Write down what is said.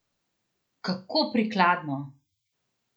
Kako prikladno!